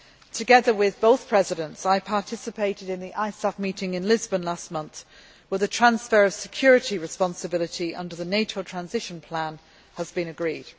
Together with both Presidents, I participated in the ISAF meeting in Lisbon last month, where the transfer of security responsibility under the NATO transition plan was agreed.